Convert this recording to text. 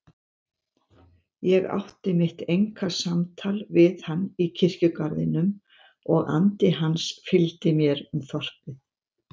Ég átti mitt einkasamtal við hann í kirkjugarðinum og andi hans fylgdi mér um þorpið.